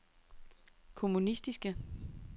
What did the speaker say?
kommunistiske